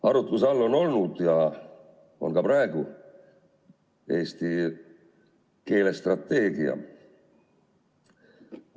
Arutluse all on olnud ja on praegugi eesti keele strateegia.